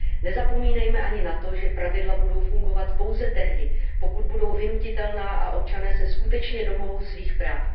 Nezapomínejme ani na to, že pravidla budou fungovat pouze tehdy, pokud budou vynutitelná a občané se skutečně domohou svých práv.